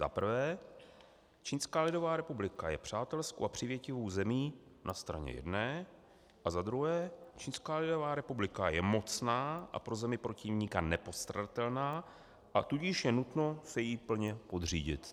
Za prvé, Čínská lidová republika je přátelskou a přívětivou zemí na straně jedné, a za druhé, Čínská lidová republika je mocná a pro zemi protivníka nepostradatelná, a tudíž je nutno se jí plně podřídit.